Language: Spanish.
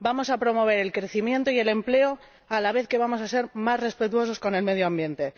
vamos a promover el crecimiento y el empleo a la vez que vamos a ser más respetuosos con el medio ambiente.